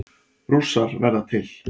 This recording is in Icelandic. Rússar verða til